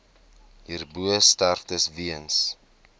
hierbo sterftes weens